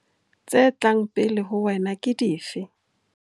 Tse tlang pele ho wena ke dife?